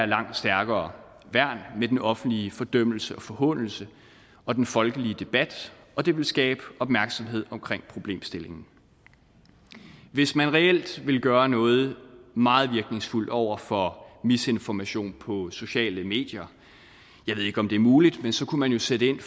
langt stærkere værn med den offentlige fordømmelse og forhånelse og den folkelige debat og det vil skabe opmærksomhed omkring problemstillingen hvis man reelt vil gøre noget meget virkningsfuldt over for misinformation på sociale medier jeg ved ikke om det er muligt kunne man jo sætte ind